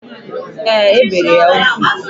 Ee, e bere ya ugwu.